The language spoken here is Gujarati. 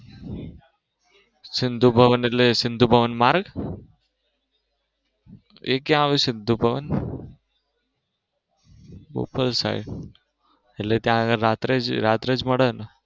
સિંધુ ભવન એટલે સિંધુ ભવન માર્ગ? એ ક્યાં આવે સિંધુ ભવન બોપલ side એટલે ત્યાં આગળ રાત્રેજ રાત્રેજ મળે ને